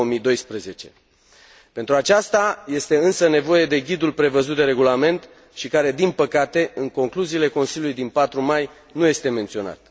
2012. Pentru aceasta este însă nevoie de ghidul prevăzut de regulament și care, din păcate, în concluziile Consiliului din 4 mai nu este menționat.